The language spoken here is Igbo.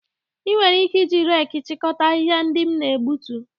Ị nwere ike iji reeki chịkọta ahịhịa ndị m na-egbutu